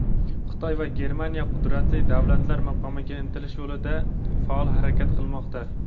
Xitoy va Germaniya qudratli davlatlar maqomiga intilish yo‘lida faol harakat qilmoqda.